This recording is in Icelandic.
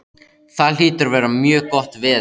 Það hlýtur að vera mjög gott veður.